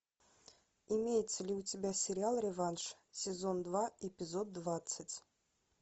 имеется ли у тебя сериал реванш сезон два эпизод двадцать